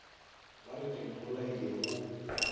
ba re ke mmolaile go